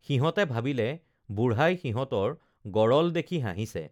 সিহঁতে ভাবিলে বুঢ়াই সিহঁতৰ গৰল দেখি হাঁহিছে